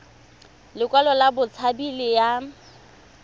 lekwalo la botshabi le ya